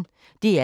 DR P1